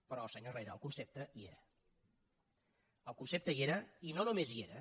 però senyor herrera el concepte hi era el concepte hi era i no només hi era